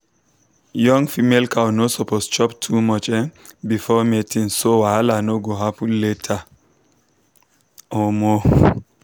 young female cow no suppose chop too much um before mating so wahala no go happen later. um